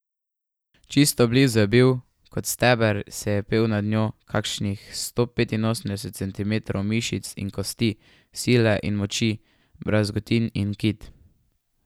Čisto blizu je bil, kot steber se je pel nad njo, kakšnih sto petinosemdeset centimetrov mišic in kosti, sile in moči, brazgotin in kit.